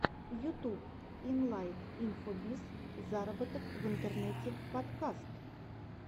ютуб илайт инфобиз зароботок в интернете подкаст